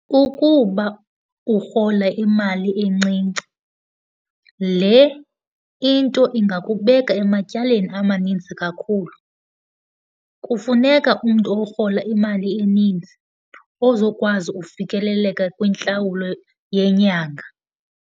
Kukuba urhola imali encinci, le into ingakubeka ematyaleni amaninzi kakhulu. Kufuneka umntu orhola imali eninzi ozokwazi ufikeleleka kwintlawulo yenyanga.